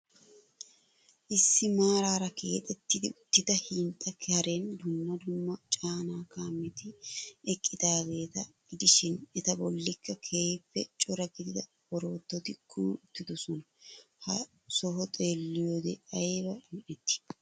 Issi maarara keexxetti uttida hinxxa karen dumma dumma caana kaametti eqqidaageta gidishshiin eta bollikka keehiippe cora qeeri oroototi kumi uttidosona. Ha soho xeelliyode ayba un'etti!.